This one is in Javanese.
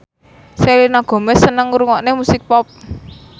Selena Gomez seneng ngrungokne musik pop